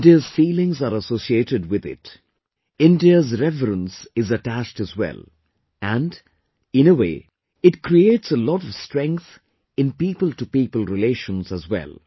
India's feelings are associated with it; India's reverence is attached as well, and, in a way, it creates a lot of strength in peopletopeople relations as well